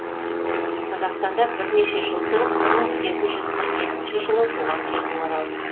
қазақстанда бірнеше жыл тұрып бір мың сегіз жүз қырық екінші жылы туған жеріне оралды